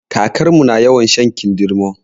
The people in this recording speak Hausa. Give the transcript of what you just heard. Kakarmu na yawan shan kindirmo